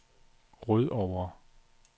Rødovre